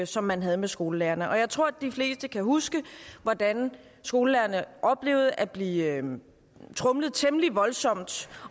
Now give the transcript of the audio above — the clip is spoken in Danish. som man havde med skolelærerne og jeg tror at de fleste kan huske hvordan skolelærerne oplevede at blive tromlet temmelig voldsomt